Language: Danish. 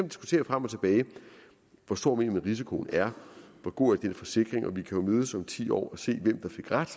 diskutere frem og tilbage hvor stor man mener risikoen er hvor god den forsikring er og vi kan mødes om ti år og se hvem der fik ret